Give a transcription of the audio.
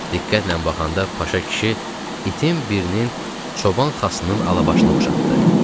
Diqqətlə baxanda Paşa kişi itin birinin Çoban Xasının Alabaşına oxşatdı.